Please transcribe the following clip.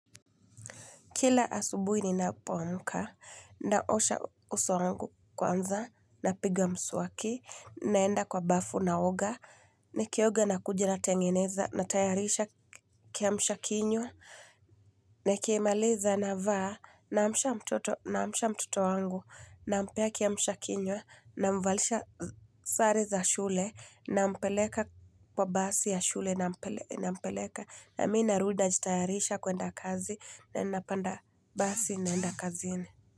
Kila asubuhi ninapoamka, naosha uso wangu kwanza, napiga mswaki, naenda kwa bafu naoga, nikioga na kuja natengeneza, natayarisha kiamshakinywa, nikimaliza na vaa na amsha mtoto naamsha mtoto wangu, nampea kiamsha kinywa, namvalisha sare za shule, nampeleka kwa basi ya shule nampeleka. Nampeleka na mi narudi najitayarisha kuenda kazi na ninapanda basi naenda kazini.